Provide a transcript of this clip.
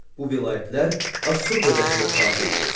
Bu vilayətlər Assur dövlətinə tabe idi.